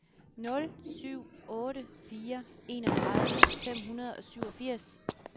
nul syv otte fire enogtredive fem hundrede og syvogfirs